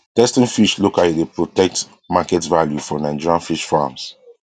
testing fish locally dey protect market value for nigerian fish farms